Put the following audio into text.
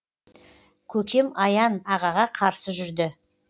көкем аян ағаға қарсы жүрді